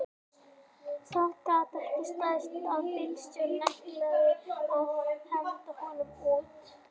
Það gat ekki staðist að bílstjórinn ætlaði að henda honum út